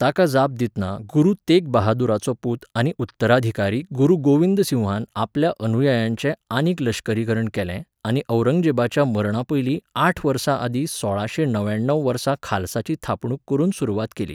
ताका जाप दितना गुरु तेगबहादुराचो पूत आनी उत्तराधिकारी गुरू गोविंदसिंहान आपल्या अनुयायांचें आनीक लश्करीकरण केलें आनी औरंगजेबाच्या मरणापयलीं आठ वर्सां आदीं सोळाशें णव्याण्णव वर्सा खालसाची थापणूक करून सुरवात केली.